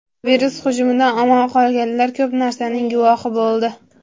Virus hujumidan omon qolganlar ko‘p narsaning guvohi bo‘ldi.